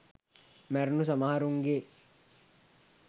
මැරුණු සමහරුන්ගේ